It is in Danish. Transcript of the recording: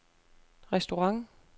restaurant